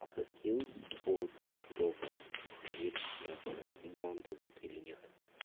авто скилз от тудова и проверь раз бан дадут или нет